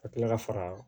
Ka kila ka fara